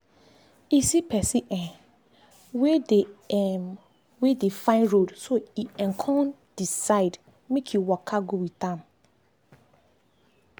e see person um wey dey um wey dey find road so e um con decide make e waka go with am.